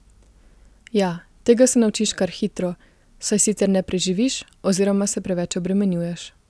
Ja, tega se naučiš kar hitro, saj sicer ne preživiš oziroma se preveč obremenjuješ.